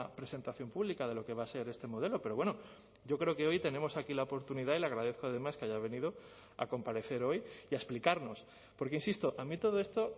presentación pública de lo que va a ser este modelo pero bueno yo creo que hoy tenemos aquí la oportunidad y le agradezco además que haya venido a comparecer hoy y a explicarnos porque insisto a mí todo esto